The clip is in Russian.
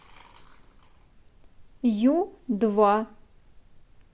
ю два